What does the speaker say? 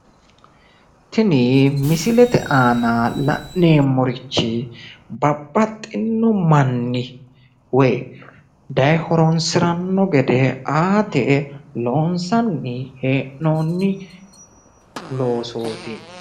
Tini misilete aana la'neemmorichi babbaxxinno manni woyi dayee horonssiranno gede aate loonssanni hee'noonni loosooti.